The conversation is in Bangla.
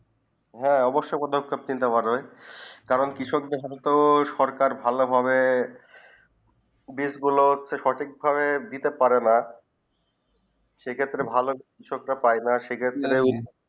হেঁ অৱশ্যে পদকে নিতে পারবে কারণ কৃষক দের হলে তো সরকার ভালো ভাবে বীজ গুলু সঠিক ভাবে দিতে পারে না সেই ক্ষেত্রে ভালো কৃষকম তা পায়ে না সেই ক্ষেত্রে